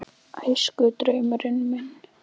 Æskudraumurinn minn?